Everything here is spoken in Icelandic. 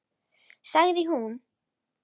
Sagði að hún þyrfti ekki að segja neitt meira.